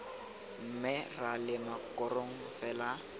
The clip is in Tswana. mme ra lema korong fela